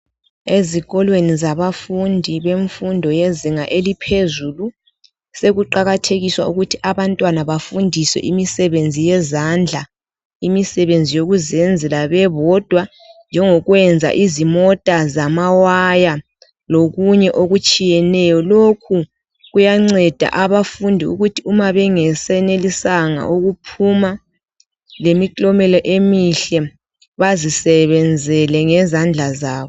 Ezikolweni zabafundi bemfundo yezinga eliphezulu, sekuqakathekiswa ukuthi abantwana bafundiswe imisebenzi yezandla. Imisebenzi yokuzenzela bebodwa njengokuyenza izimota zamawaya lokunye okutshiyeneyo. Lokhu kuyanceda abafundi ukuthi uma bengesenelisanga ukuphuma lemiklomelo emihle bazisebenzele ngezandla zabo.